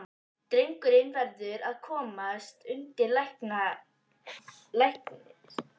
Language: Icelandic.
Drengurinn verður að komast undir læknishendur.